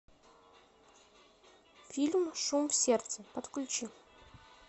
фильм шум в сердце подключи